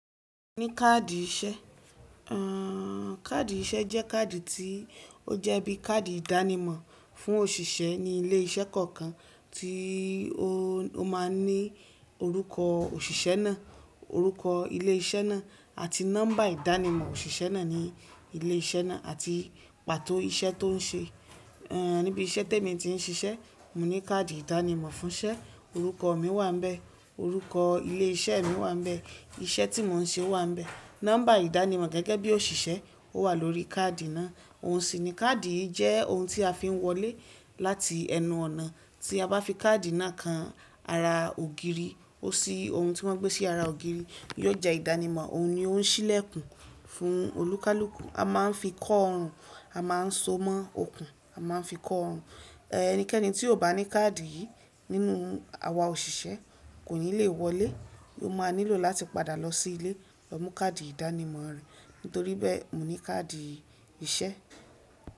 Mo ní káàdì iṣẹ́.káàdì iṣẹ́ jẹ́ káàdì tí ó jẹ́ bí i káàdì ìdánimọ̀ fún òṣìṣẹ́ ní ilé iṣẹ́ kọ̀ọ̀kan tí ó máa ń ní orúkọ òṣìṣẹ́ náà, orúkọ ilé iṣẹ́ náà àti nọ́mbà ìdánimọ̀ òṣìṣẹ́ náà ní ilé iṣẹ́ náà àti pàtó iṣẹ́ tó ń ṣe. Níbi iṣẹ́ tí èmi ti ń ṣiṣẹ́, mo ní káàdì ìdánimọ̀ fún iṣẹ́, orúkọ mi wà níbẹ̀, orúkọ ilé iṣẹ́ mi wà níbẹ̀, iṣẹ́ tí mò ń ṣe wà níbẹ̀, nọ́mbà ìdánimọ̀ gẹ́gẹ́ bí òṣìṣẹ́ ó wà lórí káàdì náà. Ohun sì ni káàdì yìí jẹ́ ohun tí a fi ń wọlé láti ẹnu ọ̀nà. Tí a bá fi káàdì náà kan ara ògiri, ó ṣí ohun tí wọ́n gbé sí ara ògiri, yóò jẹ ìdánimọ̀, òun ni ó ń ṣílẹ̀kùn fún olúkúlùkù, a máa ń fi kọ ọrùn, a máa ń so mọ́ okùn, a máa ń fi kọ ọrùn. Ẹnikẹ́ni tí kò bá ní káàdì yìí nínú àwa òṣìṣẹ́ kò ní le wọlé, o máa nílò láti padà lọ sí ilé lọ mú káàdì ìdánimọ̀ rẹ̀. Nítorí bẹ́ẹ̀, mo ní káàdì iṣẹ́.